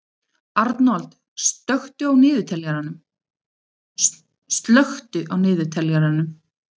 Arnold, slökktu á niðurteljaranum.